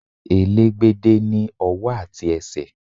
Elégbédé ní ọwọ́ àti ẹsẹ̀.